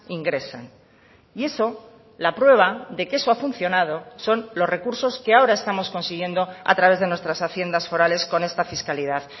ingresan y eso la prueba de que eso ha funcionado son los recursos que ahora estamos consiguiendo a través de nuestras haciendas forales con esta fiscalidad